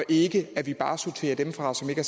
ikke bare sorterer dem fra som ikke